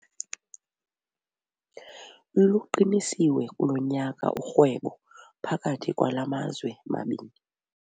Luqinisiwe kulo nyaka urhwebo phakathi kwala mazwe mabini.